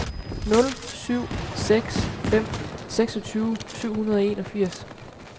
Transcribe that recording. nul syv seks fem seksogtyve syv hundrede og enogfirs